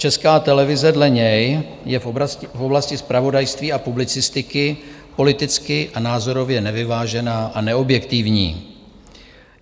Česká televize dle něj je v oblasti zpravodajství a publicistiky politicky a názorově nevyvážená a neobjektivní.